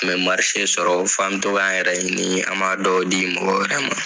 Tun bɛ i sɔrɔ fɔ an bi to k'an yɛrɛ ɲini an ma dɔw di mɔgɔ wɛrɛ ma.